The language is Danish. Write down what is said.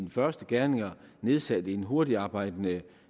første gerninger nedsat en hurtigtarbejdende